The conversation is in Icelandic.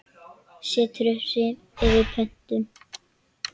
Setur upp svip eftir pöntun.